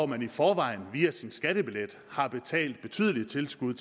man i forvejen via sin skattebillet har betalt betydelige tilskud